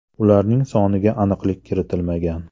Ularning soniga aniqlik kiritilmagan.